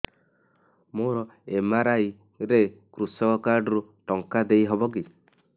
ମୋର ଏମ.ଆର.ଆଇ ରେ କୃଷକ କାର୍ଡ ରୁ ଟଙ୍କା ଦେଇ ହବ କି